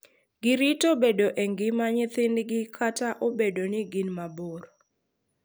Girito bedo e ngima nyithindgi kata obedo ni gin mabor.